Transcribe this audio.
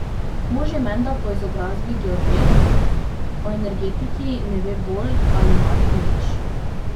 Mož je menda po izobrazbi geodet, o energetiki ne ve bolj ali manj nič.